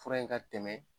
Fura in ka tɛmɛ